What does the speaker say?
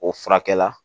O furakɛ la